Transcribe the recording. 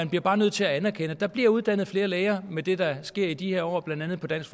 bliver bare nødt til at anerkende at der bliver uddannet flere læger med det der sker i de her år blandt andet på dansk